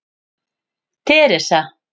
Teresa